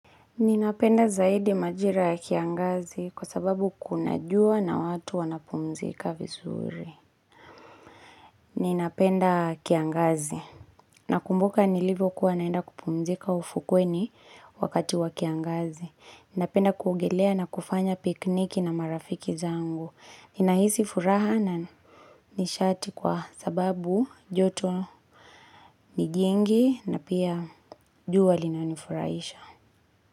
Ninapenda zaidi majira ya kiangazi kwa sababu kuna jua na watu wanapumzika vizuri. Ninapenda kiangazi. Nakumbuka nilivyo kuwa naenda kupumzika ufukweni wakati wa kiangazi. Ninapenda kuogelea na kufanya pikiniki na marafiki zangu. Ninahisi furaha na nishati kwa sababu joto nijingi na pia jua linanifurahisha.